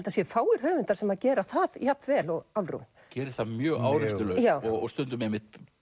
það séu fáir höfundar sem gera það jafn vel og Álfrún gerir það mjög áreynslulaust og stundum einmitt